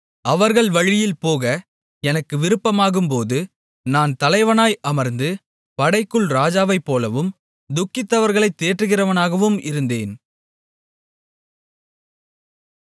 அவர்கள் வழியில்போக எனக்கு விருப்பமாகும்போது நான் தலைவனாய் அமர்ந்து படைக்குள் ராஜாவைப்போலவும் துக்கித்தவர்களைத் தேற்றுகிறவனாகவும் இருந்தேன்